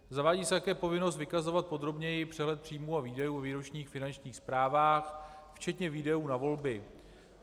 Zavádí se také povinnost vykazovat podrobněji přehled příjmů a výdajů o výročních finančních zprávách, včetně výdajů na volby.